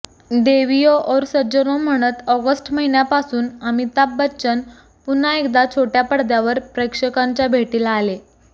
देवीयों और सज्जनों म्हणत ऑगस्ट महिन्यापासून अमिताभ बच्चन पुन्हा एकदा छोट्या पडद्यावर प्रेक्षकांच्या भेटीला आले